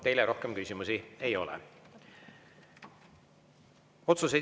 Teile rohkem küsimusi ei ole.